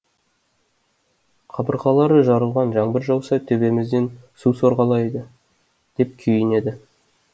қабырғалары жарылған жаңбыр жауса төбемізден су сорғалайды деп күйінеді